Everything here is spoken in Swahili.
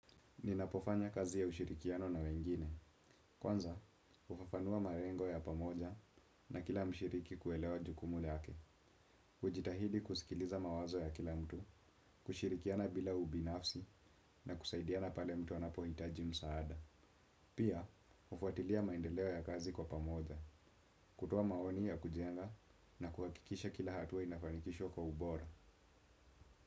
Ninapofanya kazi ya ushirikiano na wengine. Kwanza, hufafanua malengo ya pamoja na kila mshiriki kuelewa jukumu lake. Kujitahidi kusikiliza mawazo ya kila mtu, kushirikiana bila ubinafsi na kusaidiana pale mtu anapohitaji msaada. Pia, hufuatilia maendeleo ya kazi kwa pamoja, kutoa maoni ya kujenga na kuhakikisha kila hatua inafanikishwa kwa ubora.